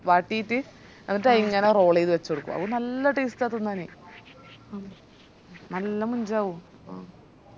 വാട്ടിറ്റ് ന്നീറ്റ് അതിങ്ങനെ roll ചെയ്തത് വെച്ചൊടുക്കുവ അതും നല്ല taste ആ തിന്നാനി നല്ല മൊഞ്ചാവും